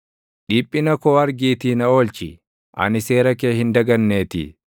Dhiphina koo argiitii na oolchi; ani seera kee hin daganneetii.